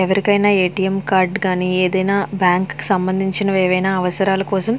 ఎవరికైనా A. T. M card గాని ఏదైనా బ్యాంక్ సంబంధించినవి ఏమైనా అవసరాలు కోసం --